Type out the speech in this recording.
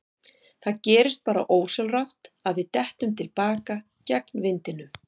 Það gerist bara ósjálfrátt að við dettum til baka gegn vindinum.